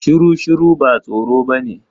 Shuru shuru ba tsoro bane.